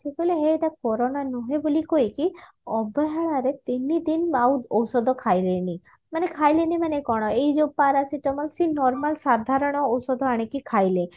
ସେ କହିଲେ ହେ ଏଇଟା କୋରୋନା ନୁହେଁ ବୋଲି କହିକି ଅବହେଳା ରେ ତିନିଦିନ ଆଉ ଔଷଧ ଖାଇଲେନି ମାନେ ଖାଇଲେନି ମାନେ କଣ ଏଇ ଯୋଉ paracetamol ସେଇ normal ସାଧାରଣ ଔଷଧ ଆଣିକି ଖାଇଲେ